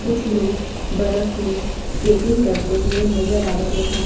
कुछ लोग बर्फ में स्केटिंग करते हुए नजर आ रहे हैं।